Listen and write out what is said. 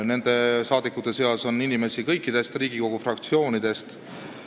Nende seas on inimesi kõikidest Riigikogu fraktsioonidest.